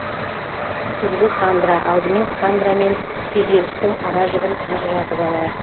күзгі хандра алдымен хандра мен күйзелістің ара жігін ажыратып алайық